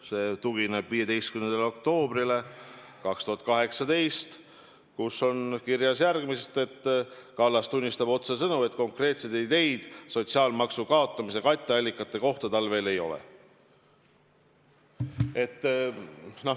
See tugineb 2018. aasta 15. oktoobri äriuudisele, kus on kirjas, et Kallas tunnistab otsesõnu, et konkreetseid ideid sotsiaalmaksu kaotamise katteallikate kohta tal veel ei ole.